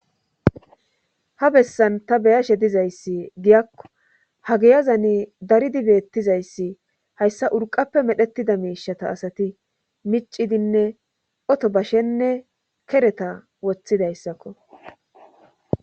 Ha bessan ta beyashe dizayssi giyakko ha geyazani daridi beettizayssi hayssa urqappe medhetida miishata asati micidinne oto bashenne kereta woththidayssakko.